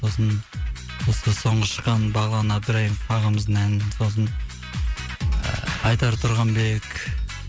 сосын осы соңғы шыққан бағлан әбдірайымов ағамыздың әнін сосын ыыы айдар тұрғанбек